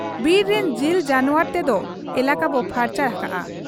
ᱵᱤᱨ ᱨᱤᱱ ᱡᱤᱞ ᱡᱟᱱᱣᱟᱨ ᱛᱮᱫᱚ ᱮᱞᱟᱠᱟ ᱵᱚ ᱯᱷᱟᱨᱪᱟ ᱦᱟᱠᱟᱜ ᱟ ᱾